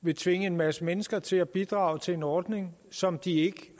vil tvinge en masse mennesker til at bidrage til en ordning som de ikke